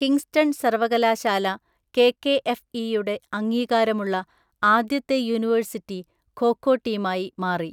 Kingston സർവകലാശാല കെകെഎഫ്ഇയുടെ അംഗീകാരമുള്ള ആദ്യത്തെ യൂണിവേഴ്സിറ്റി ഖോ ഖോ ടീമായി മാറി.